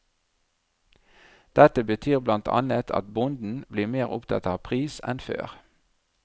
Dette betyr blant annet at bonden blir mer opptatt av pris enn før.